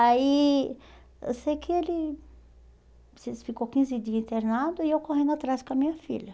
Aí, eu sei que ele ficou quinze dias internado e eu correndo atrás com a minha filha.